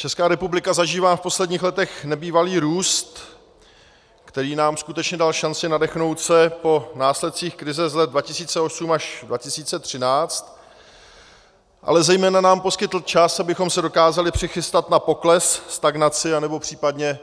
Česká republika zažívá v posledních letech nebývalý růst, který nám skutečně dal šanci nadechnout se po následcích krize z let 2008 až 2013, ale zejména nám poskytl čas, abychom se dokázali přichystat na pokles, stagnaci anebo případně